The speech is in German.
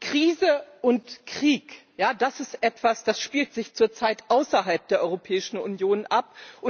Krise und Krieg, das ist etwas, das spielt sich zurzeit außerhalb der Europäischen Union ab.